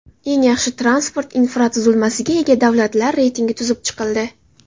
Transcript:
Eng yaxshi transport infratuzilmasiga ega davlatlar reytingi tuzib chiqildi.